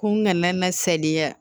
Ko n kana na sariya